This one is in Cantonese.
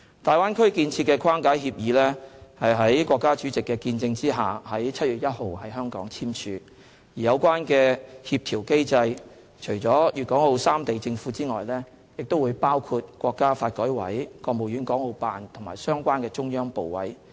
大灣區建設的框架協議是在國家主席的見證下，於7月1日在香港簽署，而有關的協調機制，除了粵港澳三地政府外，亦包括國家發展和改革委員會、國務院港澳辦及相關中央部委。